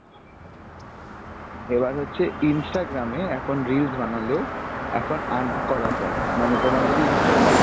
এবার হচ্ছে Instagram এ এখন reels বানালেও এখন earn করা যায় মানে তোমার যদি Instagram এ